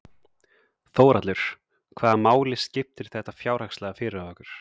Þórhallur: Hvaða máli skiptir þetta fjárhagslega fyrir okkur?